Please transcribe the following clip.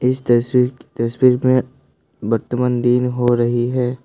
इस तस्वीर तस्वीर में वर्तमान दिन हो रही है।